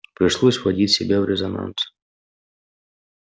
пришлось вводить себя в резонанс